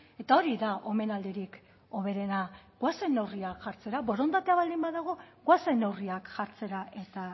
eta hori da omenaldirik hoberena goazen neurriak jartzera borondatea baldin badago goazen neurriak jartzera eta